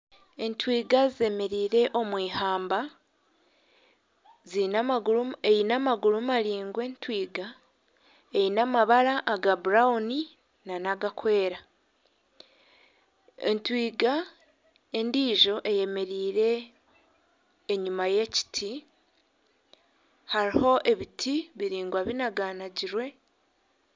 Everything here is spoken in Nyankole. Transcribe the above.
Entwinga zemereire omu ihamba eine amaguru maraingwa entwinga eine amabara aga burawuni n'agarikwera entwinga endiijo eyemereire enyima y'ekiti hariho ebiti biraingwa binaganagirwe.